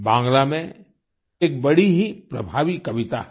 बांग्ला में एक बड़ी ही प्रभावी कविता है